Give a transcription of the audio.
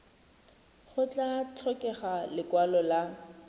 go tla tlhokega lekwalo la